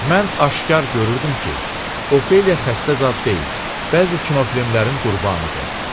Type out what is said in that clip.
Mən aşkar görürdüm ki, Ofeliya xəstə zad deyil, bəzi kinofilmlərin qurbanıdır.